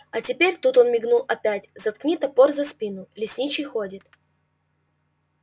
а теперь тут он мигнул опять заткни топор за спину лесничий ходит